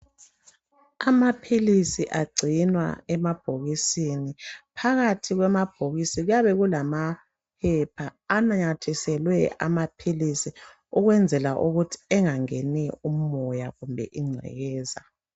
Amaphilisi agcinwa emabhokisini . Phakathi kwamabhokisi kuyabe kulamaphepha ananyathiselwe amaphilisi ukwenzela ukuthi engangeni umoya kumbe ingcekeza.